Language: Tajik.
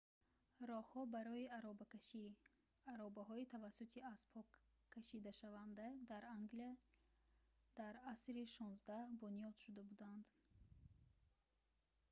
роҳҳо барои аробакашӣ аробаҳои тавассути аспҳо кашидашаванда дар англия дар асри 16 бунёд шуда буданд